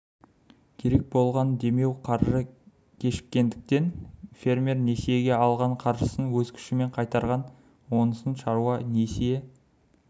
керек болған демеу қаржы кешіккендіктен фермер несиеге алған қаржысын өз күшімен қайтарған онысын шаруа несие